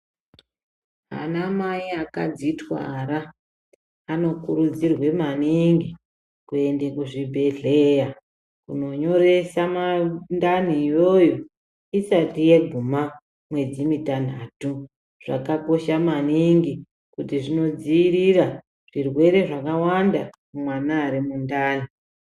Ana mai akadzitwara anokurudzirwe maningi kuende kuzvibhedhleya kunonyoresa mandani iyoyo isati yaguma mwedzi mitanhatu. Zvakakosha maningi kuti zvinodzirira zvirwere zvakawanda kumwana ari mundani.